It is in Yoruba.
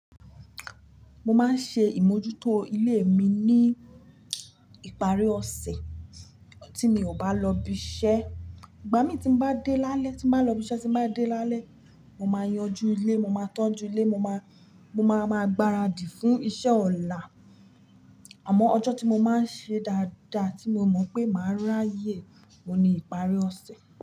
Mo máa ń ṣe ìmójútó ilé mi ní ìparí ọ̀sẹ̀ tí mi ò bá lọ ibi iṣẹ́. Ìgbà mí tí mo bá dé lálẹ́, tí mo bá lọ ibi iṣẹ́ tí mo bá dé lálẹ́, mo máa yanjú ilé, mo máa tọ́jú ilé, mo máa, mo máa ma gbaradì fún iṣẹ́ ọ̀la. Àmọ́ ọjọ́ tí mo máa ń ṣe dáadáa tí mo mọ̀ pé màá ráyè o ni ìparí ọ̀sẹ̀.